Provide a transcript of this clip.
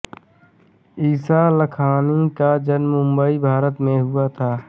ईशा लखानी का जन्म मुम्बई भारत में हुआ था